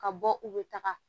Ka bɔ u bɛ taga